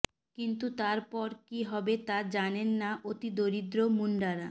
কিন্তু তারপর কি হবে তা জানে না অতিদরিদ্র মুন্ডারা